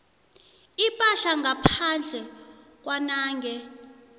ipahla ngaphandle kwanange